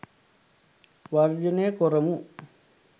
වර්ජනය කොරමු.